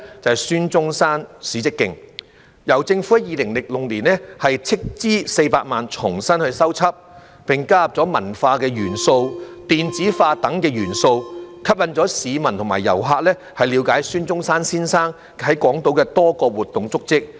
便是孫中山史蹟徑，由政府在2006年斥資400萬元重新修葺，並加入文化、電子化等元素，吸引市民和遊客了解孫中山先生在港島的多個活動足跡。